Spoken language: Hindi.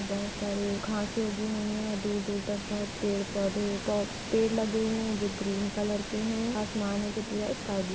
बहुत सारे घांसें उगी हुई हैं दूर-दूर तक बहुत पेड़-पौधे ब पेड़ लगे हुए हैं जो ग्रीन कलर के हैं आसमान है जो पूरा स्काई ब्लू --